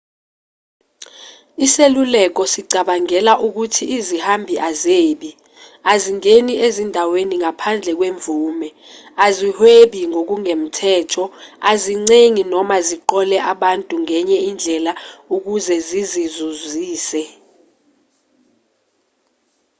iseluleko sicabangela ukuthi izihambi azebi azingeni ezindaweni ngaphandle kwemvume azihwebi ngokungemthetho azincengi noma ziqole abantu ngenye indlela ukuze zizizuzise